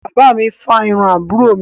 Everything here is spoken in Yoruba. Bàbá mi fárun àbúrò mi.